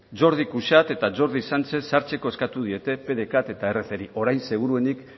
jordi cuixart eta jordi sánchez sartzeko eskatu diete pdecat eta ercri orain seguruenik